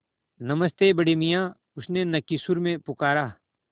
नमस्ते बड़े मियाँ उसने नक्की सुर में पुकारा